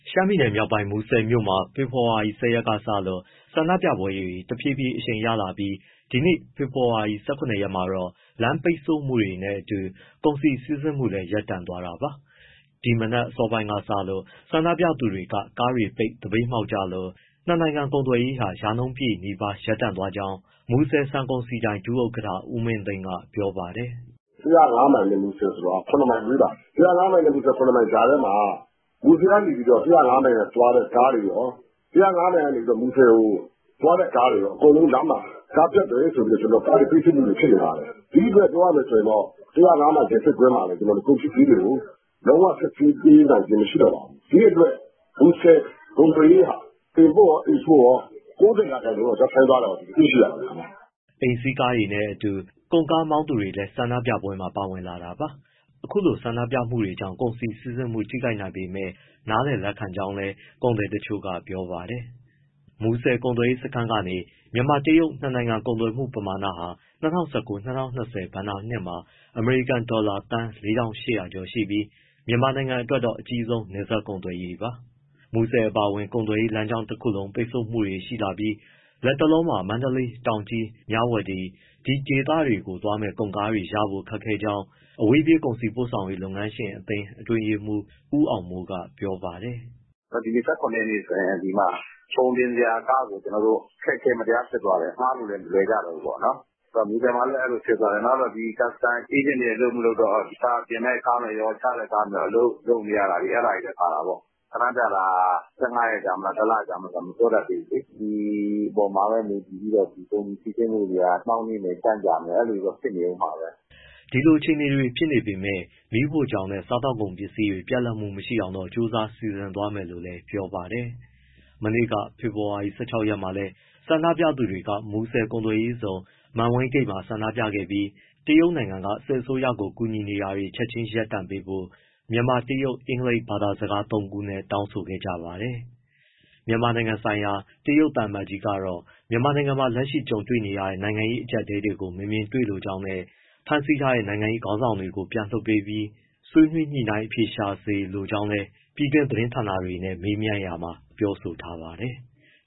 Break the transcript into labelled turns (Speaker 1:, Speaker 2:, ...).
Speaker 1: ရှမ်းပြည်မြောက်ပိုင်း မူဆယ်မြို့မှာ ဖေဖော်ဝါရီ ၁၀ ရက်လောက်ကစလို့ ဆန္ဒပြပွဲတွေ တဖြည်းဖြည်းအရှိန်ရလာပြီး ဒီနေ့ ဖေဖော်ဝါရီ ၁၇ ရက်မှာတော့ လမ်းပိတ်ဆို့မှုတွေနဲ့အတူ ကုန်စည်စီးဆင်းမှုလည်း ရပ်တန့်သွားတာပါ။ ဒီမနက်အစောပိုင်းကစလို့ ဆန္ဒပြသူတွေက ကားတွေပိတ် သပိတ်မှောက်ကြလို့ နှစ်နိုင်ငံ ကုန်သွယ်ရေးဟာ ရာနှုန်းပြည့်နီးပါး ရပ်သွားကြောင်းမူဆယ် ဆန်ကုန်စည်ဒိုင် ဒုဥက္ကဋ္ဌ ဦးမင်းသိန်းက ပြောပါတယ်
Speaker 2: ။ “၁၀၅ မိုင်နဲ့ မူဆယ်က ၇ မိုင်ဝေးပါတယ်။ အဲဒီကြားထဲမှာ မူဆယ်ကနေ ၁၀၅ မိုင်သွားတဲ့ကားတွေရော၊ ၁၀၅ မိုင်ကနေ မူဆယ်ကိုသွားတဲ့ ကားတွေရော အကုန်လုံးလမ်းမှာ ကားပျက်တယ်ဆိုပြီးတော့ ကားတွေ ပိတ်ဆို့မှုတွေ ဖြစ်နေပါတယ်။ ဒီအတွက် ပြောရမယ်ဆိုရင်တော့ ၁၀၅ မိုင်မှာလည်း ကုန်ပစ္စည်းတွေကို လုံးဝ စစ်ဆေးပေးနိုင်ခြင်း မရှိတော့ပါဘူး။ ဒီအတွက် မူဆယ် ကုန်သွယ်ရေးဟာ import ရော export ရော ၉၀ ရာခိုင်နှုန်းလောက် ရပ်ဆိုင်းသွားတာကို တွေ့ရပါတယ်။
Speaker 1: ” အိမ်စီးကားတွေနဲ့အတူ ကုန်ကားမောင်းသူတွေလည်း ဆန္ဒပြပွဲမှာ ပါဝင်လာတာပါ။ အခုလိုပိတ်ဆို့မှုတွေကြောင့် ကုန်စည်စီးဆင်းမှု ထိခိုက်နိုင်ပေမဲ့ နားလည်လက်ခံကြောင်းလည်း ကုန်သည်တချို့က ပြောပါတယ်။ မူဆယ်ကုန်သွယ်ရေးစခန်းကနေ မြန်မာ- တရုတ် နှစ်နိုင်ငံ ကုန်သွယ်မှုပမာဏဟာ ၂၀၁၉- ၂၀၂၀ ဘဏ္ဍာနှစ်မှာ အမေရိကန်ဒေါ်လာ သန်း ၄,၈၀၀ ကျော်ရှိပြီး မြန်မာအတွက်တော့ အကြီးဆုံး နယ်စပ်ကုန်သွယ်ရေးပါ။ မူဆယ်အပါအဝင် ကုန်သွယ်ရေးလမ်းကြောင်းတခုလုံး ပိတ်ဆို့မှုတွေ ရှိလာပြီး လတ်တလောမှာ မန္တလေး၊ တောင်ကြီး၊ မြဝတီ ဒီဒေသတွေကို သွားမယ့် ကုန်ကားရဖို့ ခက်ခဲကြောင်း အဝေးပြေး ကုန်စည်ပို့ဆောင်ရေး လုပ်ငန်းရှင်အသင်း အတွင်းရေးမှူး ဦးအောင်မိုးက ပြောပါတယ်
Speaker 3: ။ “ဒီနေ့ ၁၇ ရက်ဆိုရင် ကုန်တင်စရာကားကို အခက်အခဲ မတရားဖြစ်သွားတယ်၊ ငှားလို့လည်း မလွယ်ကြတော့ဘူးပေါ့။ မူဆယ်မှာလည်း အဲဒီလိုဖြစ်သွားတယ်။ နောက် custom အေးဂျင့်တွေ အလုပ်မလုပ်တော့ တင့်မယ့်ကားတွေရော၊ ချမယ့်ကားတွေရော အလုပ်လုပ်လို့ မရတာတွေလည်း ပါတာပေါ့။ ဆန္ဒပြတာက ၁၅ ရက်ကြာမလား၊ ၁လ ကြာမလား မပြောတတ်သေးဘူးလေ။ ဒီအပေါ်မှာပဲ မူတည်ပြီးတော့ ကုန်စည်စီးဆင်းမှုတွေက နှောင့်နှေးမယ် ကြန့်ကြာမယ် အဲဒီလိုတွေ ဖြစ်နေဦးမှာပဲ။
Speaker 1: ” ဒီလိုအခြေအနေတွေ ဖြစ်နေပေမဲ့ မီးဖိုချောင်နဲ့ စားသောက်ကုန်ပစ္စည်းတွေ ပြတ်လပ်မှုမရှိအောင်တော့ ကြိုးစားစီစဉ်သွားမယ်လို့လည်း ပြောပါတယ်။ မနေ့က ဖေဖော်ဝါရီ ၁၆ ရက်မှာလည်း ဆန္ဒပြသူတွေက မူဆယ်ကုန်သွယ်ရေးဇုန်က မန်ဝိန်းဂိတ်ဝမှာ ဆန္ဒပြခဲ့ပြီး တရုတ်က စစ်အစိုးရကို ကူညီတာတွေ ချက်ချင်း ရပ်ဆိုင်းပေးဖို့ မြန်မာ၊ တရုတ်၊ အင်္ဂလိပ် ဘာသာစကားသုံးနဲ့ တောင်းဆိုခဲ့ကြပါတယ်။ မြန်မာနိုင်ငံဆိုင်ရာ တရုတ်သံအမတ်ကြီးကတော့ မြန်မာနိုင်ငံမှာ လက်ရှိကြုံတွေ့နေရတဲ့ နိုင်ငံရေး အကြပ်အတည်းတွေကို မမြင်တွေ့လိုကြောင်းနဲ့ ဖမ်းဆီးထားတဲ့ နိုင်ငံရေးခေါင်းဆောင်တွေကို ပြန်လွှတ်ပေးပြီး၊ ဆွေးနွေးညှိနှိုင်းအဖြေရှာစေလိုကြောင်း ပြည်တွင်းသတင်းဌာနတွေနဲ့ မေးမြန်းရာမှာ ပြောဆိုထားပါတယ်။